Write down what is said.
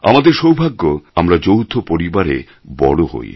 আমাদের সৌভাগ্য আমরা যৌথ পরিবারে বড় হই